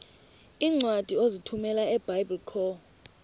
iincwadi ozithumela ebiblecor